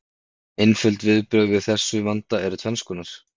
Einföld viðbrögð við þessum vanda eru tvenns konar.